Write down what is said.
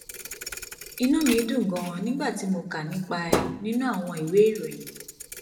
inú mi dùn ganan nígbà tí mo kà nípa ẹ nínú àwọn ìwé ìròyìn